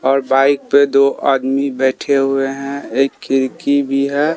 और बाइक पे दो आदमी बैठे हुए हैं। एक खिड़की भी है।